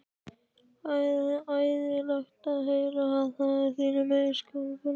Ægilegt er að heyra, og það af þínum eigin skoðanabróður?